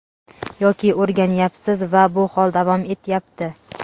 yoki o‘rganyapsiz va bu hol davom etyapti.